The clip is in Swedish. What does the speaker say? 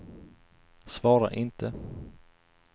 svara inte